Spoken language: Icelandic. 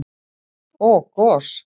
og gos.